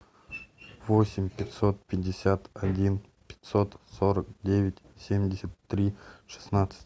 восемь пятьсот пятьдесят один пятьсот сорок девять семьдесят три шестнадцать